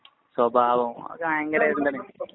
സ്വഭാവം അതൊക്കെ ഭയങ്കര ഇതെന്താണ്?